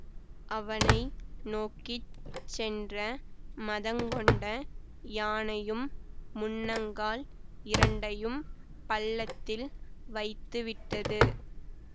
அவனை நோக்கி சென்ற மதங்கொண்ட யானையும் முன்னங்கால் இரண்டையும் பள்ளத்தில் வைத்துவிட்டது